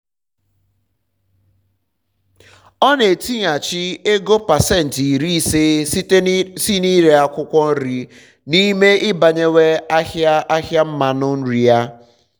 um ọ na-etighachi ego pasenti iri ise si na ire akwụkwọ nri um n'ime ibawanye ahịa ahịa mmanụ um nri ya